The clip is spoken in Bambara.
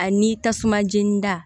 Ani tasuma jeni da